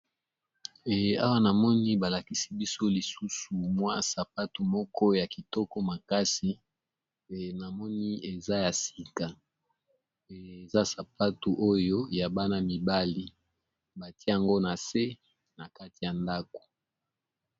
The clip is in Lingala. Eh awa namoni ba lakisi biso lisusu mwa sapatu moko ya kitoko makasi pe namoni eza ya sika,e eza sapatu oyo ya bana mibali batie yango na se na kati ya ndako.